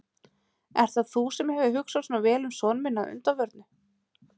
Ert það þú sem hefur hugsað svona vel um son minn að undanförnu?